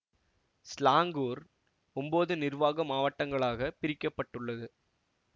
Selangor ஒன்போது நிர்வாக மாவட்டங்களாகப் பிரிக்க பட்டுள்ளது